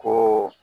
Ko